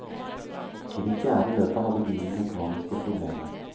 I det fjerde løpet hadde bilen mekaniske problemer.